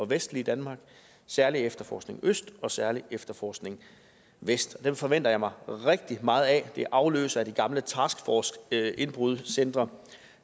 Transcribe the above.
vestlige danmark særlig efterforskning øst og særlig efterforskning vest dem forventer jeg mig rigtig meget af det er afløsere for de gamle task force indbrud centre